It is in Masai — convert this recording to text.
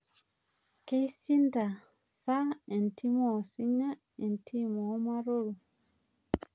Kes=ishinda sa entim oosinya entim ormaroro